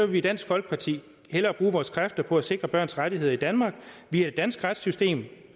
vi i dansk folkeparti hellere bruge vores kræfter på at sikre børns rettigheder i danmark via det danske retssystem